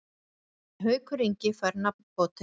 En Haukur Ingi fær nafnbótina.